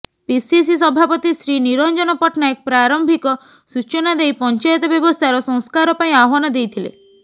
PCC ସଭାପତି ଶ୍ରୀ ନିରଞ୍ଜନ ପଟ୍ଟନାୟକ ପ୍ରାରମ୍ଭିକ ସୂଚନା ଦେଇ ପଂଚାୟତ ବ୍ୟବସ୍ଥାର ସଂସ୍କାର ପାଇଁ ଆହ୍ୱାନ ଦେଇଥିଲେ